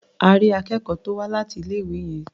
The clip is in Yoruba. À rí akẹ́kọ̀ọ́ tó wá láti ilé-ìwé yẹn.